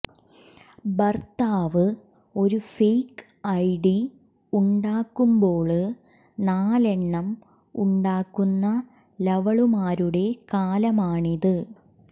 ഭര്ത്താവ് ഒരു fake ID ഉണ്ടാക്കുമ്പോള് നാലെണ്ണം ഉണ്ടാക്കുന്ന ലവളുമാരുടെ കാലമാണിത്